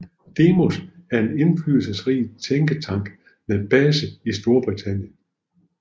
Demos er en indflydelsesrig tænketank med base i Storbritannien